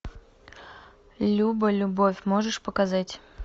люба любовь можешь показать